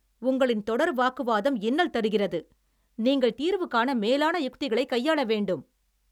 உங்களின் தொடர் வாக்குவாதம் இன்னல் தருகிறது, நீங்கள் தீர்வு காண மேலான யுக்திகளை கையாள வேண்டும்